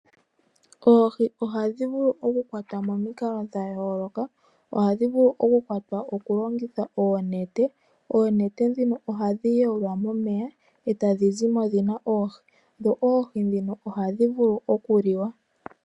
Oohi ohadhi vulu oku kwatwa momikalo dha yooloka. Ohadhi vulu oku kwatwa okulongitha oonete. Oonete dhino ohadhi yolwa momeya, eta dhi zi mo dhi na oohi, dho oohi dhino ohadhi vulu oku liwa.